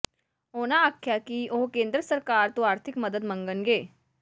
ਉਨ੍ਹਾਂ ਆਖਿਆ ਕਿ ਉਹ ਕੇਂਦਰ ਸਰਕਾਰ ਤੋਂ ਆਰਥਿਕ ਮੱਦਦ ਮੰਗਣਗੇ